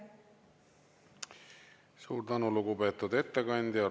Suur tänu, lugupeetud ettekandja!